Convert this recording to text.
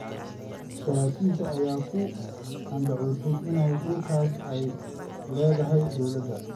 Saraakiisha ayaa ku andacoonaya in dhulkaas ay leedahay dowladda.